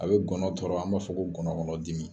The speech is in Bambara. A be gɔnɔ tɔɔrɔ, an b'a f'o ma ko gɔnɔkɔnɔdimi.